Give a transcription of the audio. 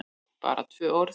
BARA tvö orð?